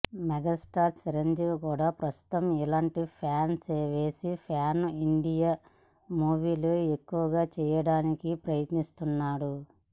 megastar Chiranjeevi కూడా ప్రస్తుతం ఇలాంటి ప్లాన్ వేసి ప్యాన్ ఇండియా మూవీలు ఎక్కువగా చేయడానికి ప్రయత్నిస్తున్నాడు